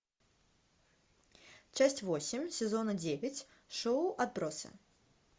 часть восемь сезона девять шоу отбросы